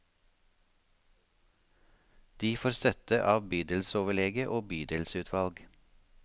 De får støtte av bydelsoverlege og bydelsutvalg.